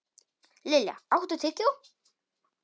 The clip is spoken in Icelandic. Lilja, áttu tyggjó?